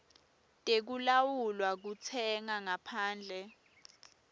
tekulawula kutsenga ngaphandle